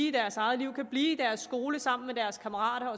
i deres eget liv kan blive i deres skole sammen med deres kammerater